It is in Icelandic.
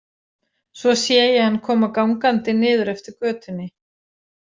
Svo sé ég hann koma gangandi niður eftir götunni.